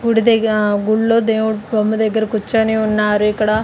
గుడి దగ్గర గుళ్లో దేవుని బొమ్మ దగ్గర కూర్చొని ఉన్నారు ఇక్కడ.